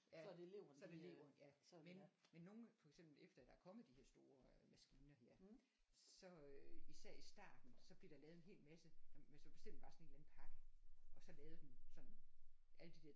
Ja så er det leveren ja men men nogle for eksempel efter der er kommet de her store øh maskiner her så øh især i starten så blev der lavet sådan en hel masse jamen så bestiller vi bare sådan en eller anden pakke og så lavede den sådan alle de der